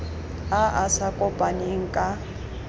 a a sa kopaneng ka